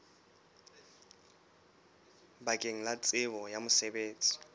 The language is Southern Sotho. bakeng la tsebo ya mosebetsi